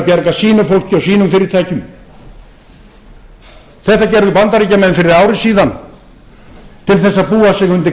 bjarga sínu fólki og sínum fyrirtækjum þetta gerðu bandaríkjamenn fyrir ári síðan til þess að búa sig